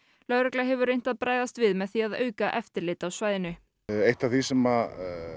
lögregla hefur reynt að bregðast við með því að auka eftirlit á svæðinu eitt af því sem